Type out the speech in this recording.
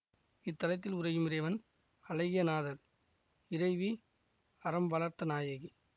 இத்தலத்தில் உறையும் இறைவன் அழகியநாதர் இறைவி அறம்வளர்த்தநாயகி